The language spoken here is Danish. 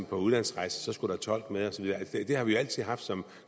på udlandsrejser så skulle tolk med altså det har vi jo altid haft som